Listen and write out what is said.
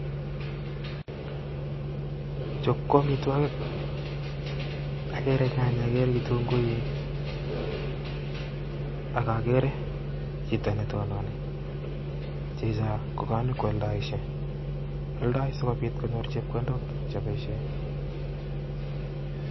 Chuuu KO amitwagiik agereenyanyeek agere kitunguiik AK.agere Chito netonini NE kanyone nikwaldaishe aldai sikopit konyor. chepkondok chebaishe